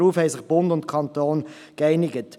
Darauf haben sich Bund und Kanton geeinigt.